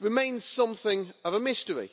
remains something of a mystery.